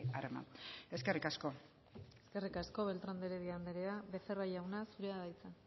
arma eskerrik asko eskerrik asko beltrán de heredia andrea becerra jauna zurea da hitza